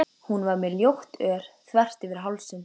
Hún var með ljótt ör þvert yfir hálsinn.